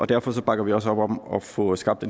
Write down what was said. derfor bakker vi også op om at få skabt